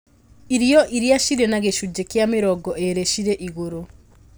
Irio iria cirĩ na gĩcunjĩ kĩa mĩrongo ĩĩrĩ cirĩ igũrũ